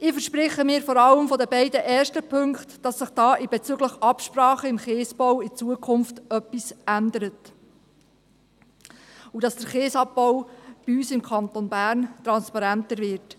Ich verspreche mir vor allem von den ersten beiden Punkten, dass sich bezüglich Absprachen im Kiesabbau zukünftig etwas ändert und dass der Kiesabbau bei uns im Kanton Bern transparenter wird.